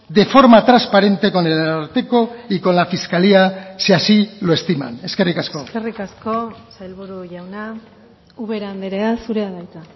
de forma transparente con el ararteko y con la fiscalía si así lo estiman eskerrik asko eskerrik asko sailburu jauna ubera andrea zurea da hitza